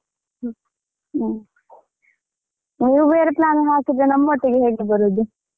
ಹ್ಮ ಹ್ಮ ನೀವ್ ಬೇರೆ plan ಹಾಕಿದ್ರೆ ನಮ್ಮೊಟ್ಟಿಗೆ ಹೇಗೆ ಬರುದು?